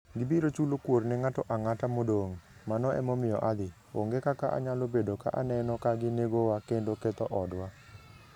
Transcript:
Gibiro chulo kuor ne ng'ato ang'ata modong', mano emomiyo adhi... onge kaka anyalo bedo ka aneno ka ginegowa kendo ketho odwa.